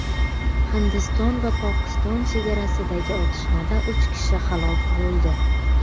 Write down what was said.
Hindiston va Pokiston chegarasidagi otishmada uch kishi halok bo‘ldi.